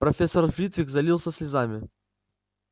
профессор флитвик залился слезами